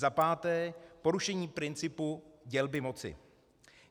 Za páté, Porušení principu dělby moci.